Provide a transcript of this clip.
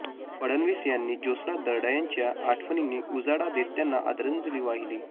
फडणवीस यांनी ज्योत्स्ना दर्डा यांच्या आठवणींनी उजाळा देत त्यांना आदरांजली वाहिली